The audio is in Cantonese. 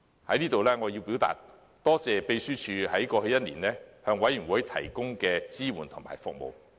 我要在此感謝秘書處在過去一年向事務委員會提供的支援和服務。